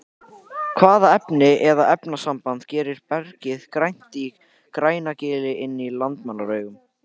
hvaða efni eða efnasamband gerir bergið grænt í grænagili inn í landmannalaugum